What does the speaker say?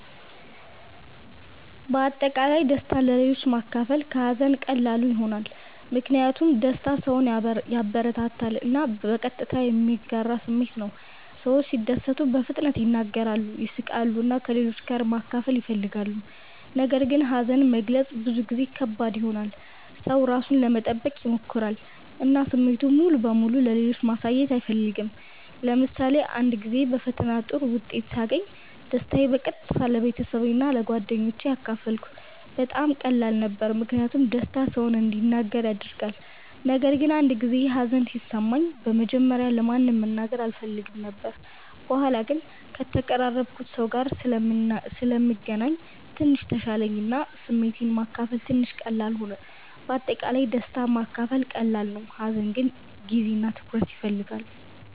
በአጠቃላይ ደስታን ለሌሎች ማካፈል ከሀዘን ቀላሉ ይሆናል። ምክንያቱም ደስታ ሰውን ያበረታታል እና በቀጥታ የሚጋራ ስሜት ነው። ሰዎች ሲደሰቱ በፍጥነት ይናገራሉ፣ ይስቃሉ እና ከሌሎች ጋር ማካፈል ይፈልጋሉ። ነገር ግን ሀዘን መግለጽ ብዙ ጊዜ ከባድ ይሆናል። ሰው ራሱን ለመጠበቅ ይሞክራል እና ስሜቱን ሙሉ በሙሉ ለሌሎች ማሳየት አይፈልግም። ለምሳሌ አንድ ጊዜ በፈተና ጥሩ ውጤት ሳገኝ ደስታዬን በቀጥታ ለቤተሰቤ እና ለጓደኞቼ አካፈልኩ። በጣም ቀላል ነበር ምክንያቱም ደስታ ሰውን እንዲናገር ያደርጋል። ነገር ግን አንድ ጊዜ ሀዘን ሲሰማኝ በመጀመሪያ ለማንም መናገር አልፈልግም ነበር። በኋላ ግን ከተቀራረብኩት ሰው ጋር ስለምገናኝ ትንሽ ተሻለኝ እና ስሜቴን ማካፈል ትንሽ ቀላል ሆነ። በአጠቃላይ ደስታ ማካፈል ቀላል ነው፣ ሀዘን ግን ጊዜ እና ትኩረት ይፈልጋል።